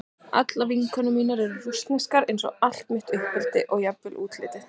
Allar vinkonur mínar voru rússneskar eins og allt mitt uppeldi og jafnvel útlitið.